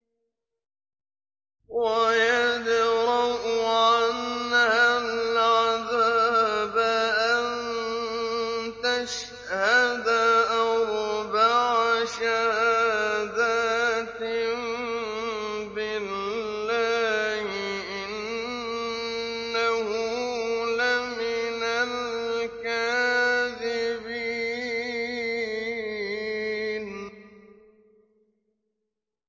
وَيَدْرَأُ عَنْهَا الْعَذَابَ أَن تَشْهَدَ أَرْبَعَ شَهَادَاتٍ بِاللَّهِ ۙ إِنَّهُ لَمِنَ الْكَاذِبِينَ